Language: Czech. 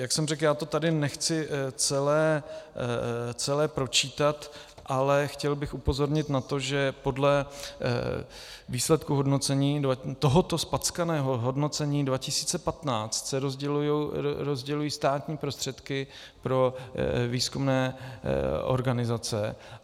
Jak jsem řekl, já to tady nechci celé pročítat, ale chtěl bych upozornit na to, že podle výsledků hodnocení, tohoto zpackaného hodnocení 2015, se rozdělují státní prostředky pro výzkumné organizace.